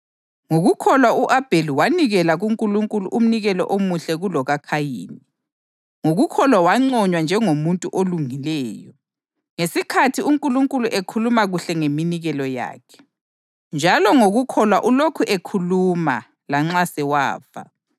Ngokukholwa u-Abheli wanikela kuNkulunkulu umnikelo omuhle kulokaKhayini. Ngokukholwa wanconywa njengomuntu olungileyo, ngesikhathi uNkulunkulu ekhuluma kuhle ngeminikelo yakhe. Njalo ngokukholwa ulokhu ekhuluma, lanxa sewafa.